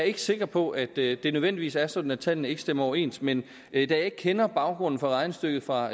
ikke sikker på at det det nødvendigvis er sådan at tallene ikke stemmer overens men da jeg ikke kender baggrunden for regnestykket fra